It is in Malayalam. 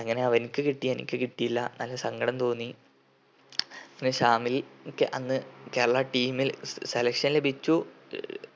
അങ്ങനെ അവൻക്ക് കിട്ടി എനിക്ക് കിട്ടിയില്ല നല്ല സങ്കടം തോന്നി പിന്നെ ശാമിൽ ക്ക് അന്ന് കേരളാ team ൽ selection ലഭിച്ചു